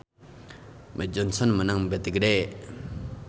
Mead Johnson meunang bati gede